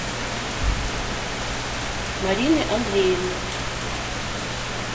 марины андреевны